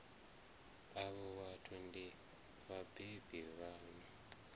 avho vhathu ndi vhabebi vhaṋu